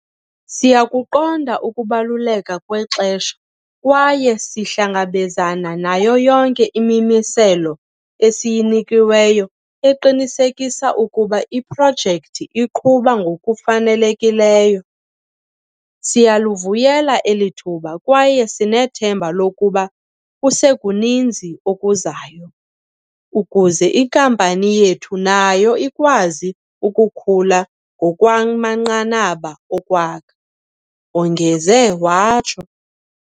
"Siyakuqonda ukubaluleka kwexesha kwaye sihlangabezana nayo yonke imimiselo esiyinikiweyo eqinisekisa ukuba iprojekthi iqhuba ngokufanele kileyo. Siyalivuyela eli thuba kwaye sinethemba lokuba kusekuninzi okuzayo, ukuze inkampani yethu nayo ikwazi ukukhula ngokwamanqanaba okwakha," wongeze watsho.